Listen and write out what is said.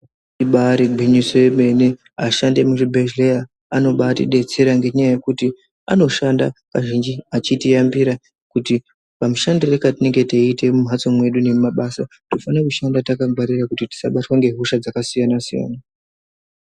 Ibaari gwinyiso yemene ashandi emuzvibhedhlera anotidetsera ngenyaya yekuti anoshanda achitiyambira kuti kamushandire katinenge taiita mumhatso nekumabasa tinofanira kushanda taiita kuti tisabatwa ngehosha dzakasiyana siyana.